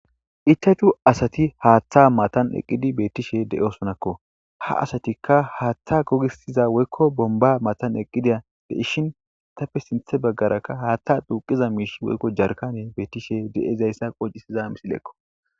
ichachu asati haaththa matan eqqidi beettishe de7e osonakko ha asatikka haaththa gogisiza woykko bomba matan eqqida de ishin itapfe sinthe baggarakka haaththa duuqiza miish woykko jarkane beettishe de7izayssa qocisiza misileekko